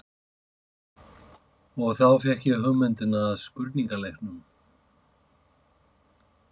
Og þá fékk ég hugmyndina að spurningaleiknum.